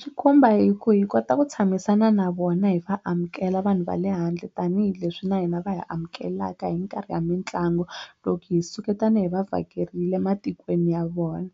Swi khumba hi ku hi kota ku tshamisana na vona hi va amukela vanhu va le handle tanihileswi na hina va hi amukeleka hi nkarhi ya mitlangu loko ho suketana hi va vhakerile ematikweni ya vona